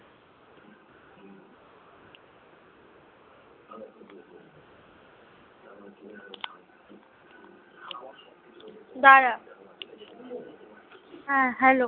দাঁড়া হ্যাঁ hello